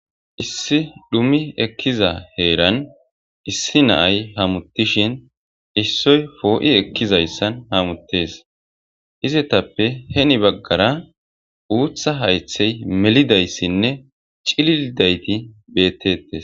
Issi dhumi ekiza heran hamutishin issoy po'i ekiza heran hamuttes. Izetappe heni bagara uththa hayththi melidaysinne cililidaytti bettetes.